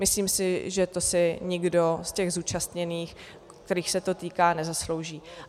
Myslím si, že to si nikdo z těch zúčastněných, kterých se to týká, nezaslouží.